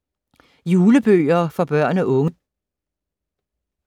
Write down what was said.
Julebøger for børn og unge